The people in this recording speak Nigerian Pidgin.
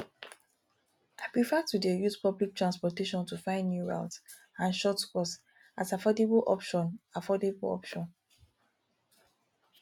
i prefer to dey use public transportation to find new routes and shortcuts as affordable option affordable option